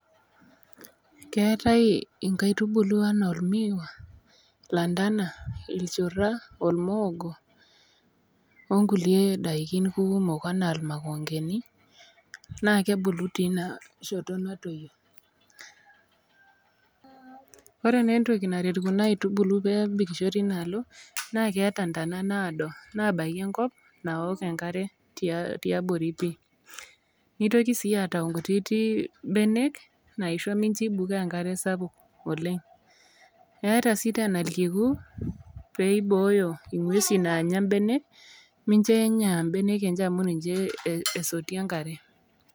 Keetai inkaitubulu anaa ormiwa, landana, ilchura, ormoog onkulie dakin kumok anaa irmakongeni naa kebulu teina shoto nadoyio .Ore nai entoki naret kuna kaitubulu naa keeta ntana naado nabaki enkop naaok enkare tiabori pii ,nitoki sii aata nkutiti benek naisho mincho ebuko enkare sapuk oleng, eeta sii tena irkiku peibooyo ngwesin naanya mbenek mincho enya mbenek amu ninye esotie enkare.